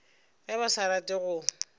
ge ba sa rate go